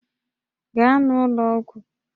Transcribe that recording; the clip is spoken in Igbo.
Gaa n'ụlọ ọgwụ!